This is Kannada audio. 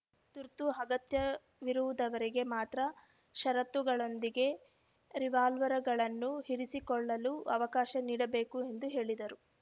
ತುರ್ತು ಅಗತ್ಯವಿರುದವರಿಗೆ ಮಾತ್ರ ಷರತ್ತುಗಳೊಂದಿಗೆ ರಿವಾಲ್ವಾರ್‌ಗಳನ್ನು ಇರಿಸಿಕೊಳ್ಳಲು ಅವಕಾಶ ನೀಡಬೇಕು ಎಂದು ಹೇಳಿದರು